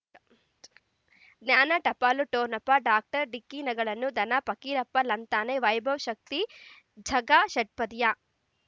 ಜ್ಞಾನ ಟಪಾಲು ಠೊಣಪ ಡಾಕ್ಟರ್ ಢಿಕ್ಕಿ ಣಗಳನು ಧನ ಪಕೀರಪ್ಪ ಳಂತಾನೆ ವೈಭವ್ ಶಕ್ತಿ ಝಗಾ ಷಟ್ಪದಿಯ